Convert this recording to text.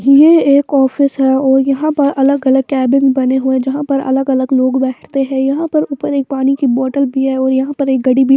यह एक ऑफिस है और यहां पर अलग-अलग कैबिन बने हुए हैं यहां पर अलग-अलग लोग बैठते हैं यहां पर ऊपर एक पानी की बोतल भी है और यहां पर एक घड़ी भी--